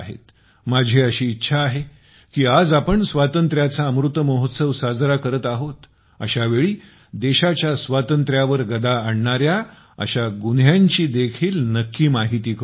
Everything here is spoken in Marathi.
माझी अशी इच्छा आहे की आज आपण स्वातंत्र्याचा अमृत महोत्सव साजरा करत आहोत अशा वेळी देशाच्या स्वातंत्र्यावर गदा आणणाऱ्या अशा गुन्ह्यांची देखील नक्की माहिती करुन घ्या